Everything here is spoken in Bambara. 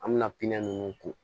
An bɛna pinɛ ninnu ko